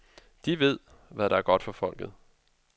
De ved, hvad der er godt for folket.